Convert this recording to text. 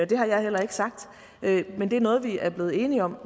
det har jeg heller ikke sagt men det er noget vi er blevet enige om